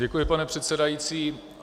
Děkuji, pane předsedající.